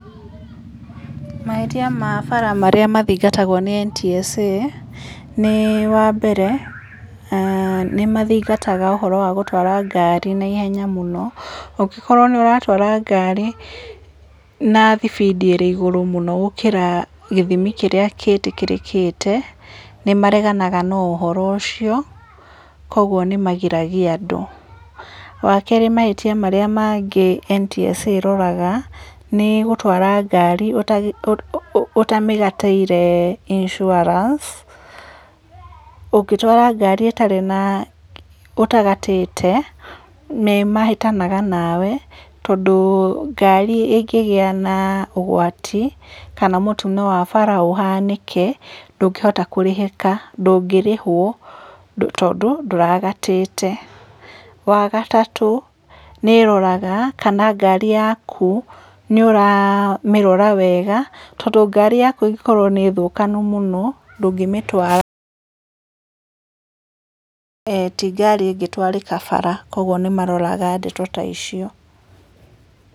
Mahĩtia ma bara marĩa mathingatagwo nĩ NTSA nĩ wa mbere, nĩ mathingataga ũhoro wa gũtwara ngari naihenya mũno. Ũngĩkorwo nĩ ũratwara ngari na thibindi ĩrĩ igũrũ mũno gũkĩra gĩthimi kĩrĩa gĩtĩkĩrĩkĩte, nĩ mareganaga na ũhoro ũcio koguo nĩ magiragia andũ. Wa kerĩ, mahĩtia mangĩ marĩa NTSA ĩroraga nĩ gũtwara ngari ũtamĩgatĩire insurance. Ũngĩtwara ngari ũtarĩ na, ũtagatĩte nĩ mahĩtanaga nawe, tondũ ngari ĩngĩgĩa ũgwati kana mũtino wa bara ũhanĩke, ndũngĩhota kũrĩhĩka, ndũngĩrĩhwo tondũ ndũragatĩte. Wa gatatũ, nĩ ĩroraga kana ngari yaku nĩ ũramĩrora wega, tondũ ngari yaku ĩngĩkorwo nĩ thũkanu mũno ndũngĩmĩtwara, ti ngari ĩngĩtwarĩka bara. Koguo nĩ maroraga ndeto ta icio.